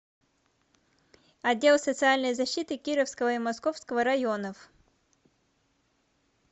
отдел социальной защиты кировского и московского районов